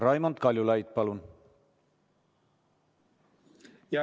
Raimond Kaljulaid, palun!